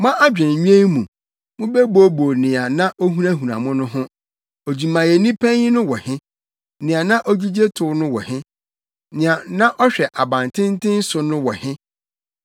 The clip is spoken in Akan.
Mo adwennwen mu, mobɛbooboo nea na ohunahuna mo no ho: “Odwumayɛni panyin no wɔ he? Nea na ogyigye tow no wɔ he? Nea na ɔhwɛ abantenten so no wɔ he?”